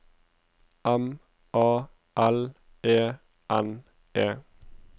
M A L E N E